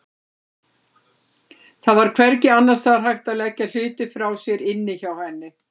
Það var hvergi annars staðar hægt að leggja hluti frá sér inni hjá henni.